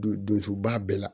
Don don suba bɛɛ la